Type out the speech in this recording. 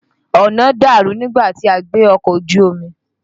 Ọ̀nà dàrú nígbà tí a gbé ọkọ̀ ojú omi.